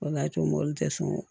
O de y'a to mobili tɛ sɔn